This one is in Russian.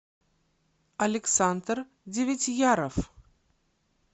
александр девятьяров